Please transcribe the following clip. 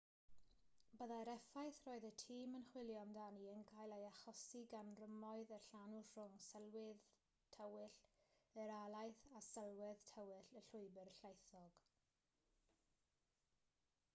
byddai'r effaith roedd y tîm yn chwilio amdani yn cael ei hachosi gan rymoedd y llanw rhwng sylwedd tywyll yr alaeth a sylwedd tywyll y llwybr llaethog